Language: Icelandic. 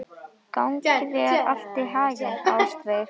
Gangi þér allt í haginn, Ástveig.